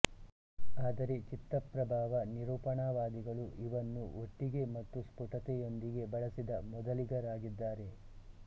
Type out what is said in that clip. ಆದರೆ ಚಿತ್ತಪ್ರಭಾವ ನಿರೂಪಣವಾದಿಗಳು ಇವನ್ನು ಒಟ್ಟಿಗೆ ಮತ್ತು ಸ್ಫುಟತೆಯೊಂದಿಗೆ ಬಳಸಿದ ಮೊದಲಿಗರಾಗಿದ್ದಾರೆ